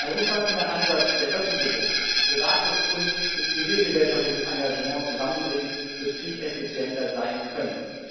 Ein umfassender Ansatz, der öffentliches, privates und zivilgesellschaftliches Engagement zusammenbringt, wird viel effizienter sein können.